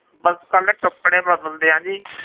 ਬਸ ਇਕੱਲੇ ਕੱਪੜੇ ਬਦਲਦੇ ਹਾਂ ਜੀ।